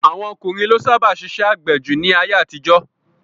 Àwọn ọkùnrin ló sábà ṣiṣẹ́ àgbẹ̀ jù ní ayé-àtijọ́.